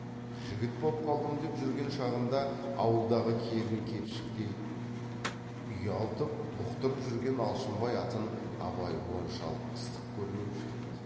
жігіт боп қалдым деп жүрген шағында ауылдағы келін кепшіктей ұялтып бұқтырып жүрген алшынбай атын абай оншалық ыстық көрмеуші еді